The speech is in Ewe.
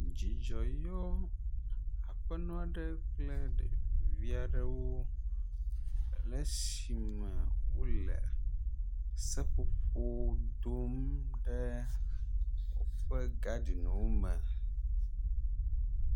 Dzidzɔ yɔ aƒenɔ aɖe kple ɖevi aɖewo, le esime wole seƒoƒo dom ɖe woƒe gaɖinwo me.